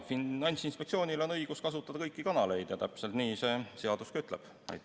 Finantsinspektsioonil on õigus kasutada kõiki kanaleid ja täpselt nii see seadus ütlebki.